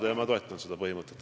Nii et ma toetan seda põhimõtet.